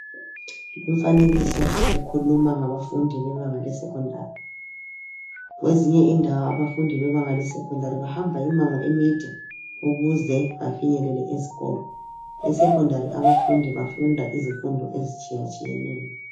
Umfanekiso ukhuluma ngabafundi bebanga lesekhondari. Kwezinye indawo abafundi bebanga lesekhondari bahamba imango emide ukuze bafinyelele esikolo. Esekhondari abafundi bafunda izinto ezitshiyetshiyeneyo.